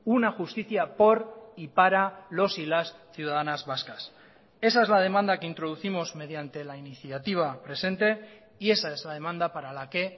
una justicia por y para los y las ciudadanas vascas esa es la demanda que introducimos mediante la iniciativa presente y esa es la demanda para la que